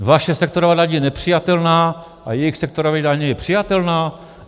Vaše sektorová daň je nepřijatelná a jejich sektorová daň je přijatelná?